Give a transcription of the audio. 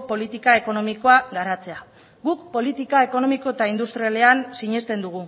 politika ekonomikoa garatzea guk politika ekonomiko eta industrialean sinesten dugu